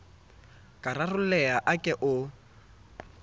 ka rarolleha a ke o